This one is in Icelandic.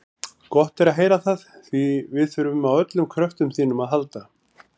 Gott er að heyra það, því við þurfum á öllum kröftum þínum að halda.